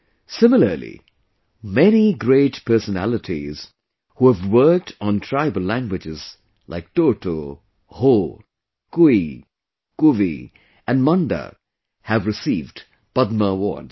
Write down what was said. Similarly, many great personalities who have worked on tribal languages like Toto, Ho, Kui, Kuvi and Manda have received Padma Awards